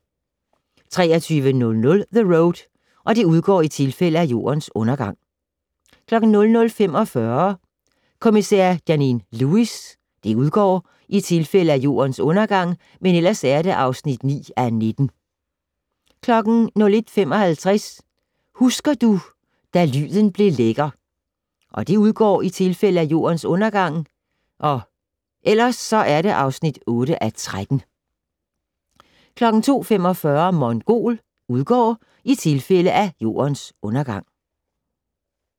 23:00: The Road (udgår i tilfælde af Jordens Undergang) 00:45: Kommisær Janine Lewis (udgår i tilfælde af Jordens Undergang) (9:19) 01:55: Husker du - da lyden blev lækker (udgår i tilfælde af Jordens Undergang) (8:13) 02:45: Mongol (udgår i tilfælde af Jordens Undergang)